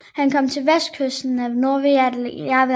Han kom til vestkysten af Novaja Zemlja